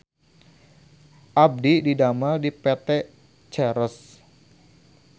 Abdi didamel di PT Ceres